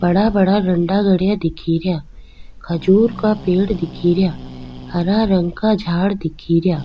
बड़ा बड़ा डंडा गडेया दिखे रिया खजूर का पेड़ दिखे रिया हरा रंग का झाड़ दिखे रिया।